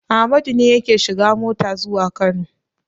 Amadu ne yake shiga mota zuwa Kano.